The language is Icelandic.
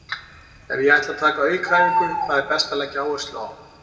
Ef ég ætla að taka aukaæfingu, hvað er best að leggja áherslu á?